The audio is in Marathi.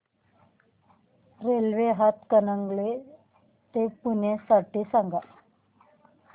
रेल्वे हातकणंगले ते पुणे साठी सांगा